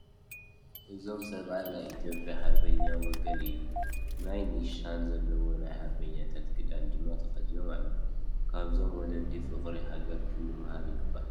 እዞም ሰብኣይ ናይ ኢትዮጵያ ሃርበኛታት ወገን እዮም፡፡ ናይ ኒሻን ዘለዎ ናይ ሃርበኛታት ክዳን ድማ ተኸዲኖም ኣለዎ፡፡ ካብዞም ወለዲ ፍቕሪ ሃገር ክንመሃር ይግባእ፡፡